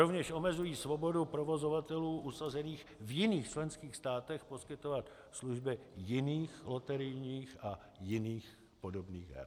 Rovněž omezují svobodu provozovatelů usazených v jiných členských státech poskytovat služby jiných loterijních a jiných podobných her.